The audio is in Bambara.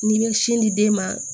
N'i bɛ sin di den ma